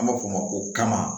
An b'a fɔ o ma ko kama